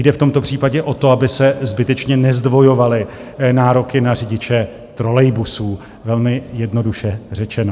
Jde v tomto případě o to, aby se zbytečně nezdvojovaly nároky na řidiče trolejbusů, velmi jednoduše řečeno.